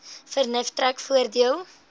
vernuf trek voordeel